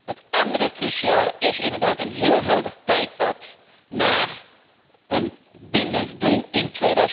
Het andere cruciale punt is inderdaad een helder tijdpad naar een bindend doel in